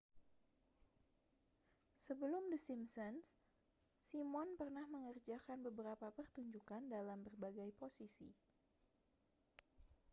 sebelum the simpsons simon pernah mengerjakan beberapa pertunjukan dalam berbagai posisi